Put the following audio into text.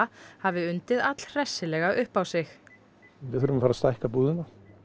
hafi undið allhressilega upp á sig við þurfum að stækka búðina